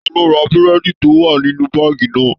Talo ra burẹdi to wà nínú baagi náà?